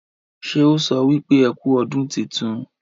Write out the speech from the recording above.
ṣe ọ so wípé ẹkú ọdún títún?